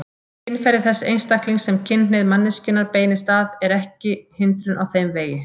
Kynferði þess einstaklings sem kynhneigð manneskjunnar beinist að er ekki hindrun á þeim vegi.